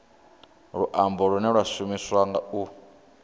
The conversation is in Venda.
luambo lune lwa shumiswa u